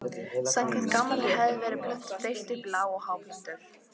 Samkvæmt gamalli hefð var plöntum deilt upp í lág- og háplöntur.